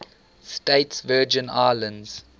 states virgin islands